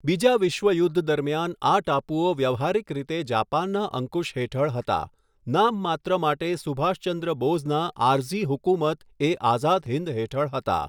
બીજા વિશ્વયુદ્ધ દરમિયાન આ ટાપુઓ વ્યવહારિક રીતે જાપાનના અંકુશ હેઠળ હતા, નામ માત્ર માટે સુભાષચંદ્ર બોઝના આરઝી હુકુમત એ આઝાદ હિન્દ હેઠળ હતા.